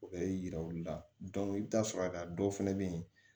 O bɛ yira olu la i bɛ taa sɔrɔ a dɔw fana bɛ yen